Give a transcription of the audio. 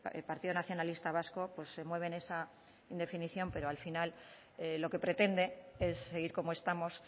el partido nacionalista vasco se mueve en esa indefinición pero al final lo que pretende es seguir como estamos